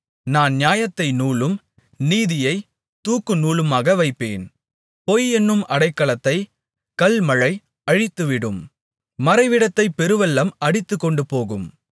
நான் நியாயத்தை நூலும் நீதியைத் தூக்கு நூலுமாக வைப்பேன் பொய் என்னும் அடைக்கலத்தைக் கல்மழை அழித்துவிடும் மறைவிடத்தை பெருவெள்ளம் அடித்துக்கொண்டுபோகும்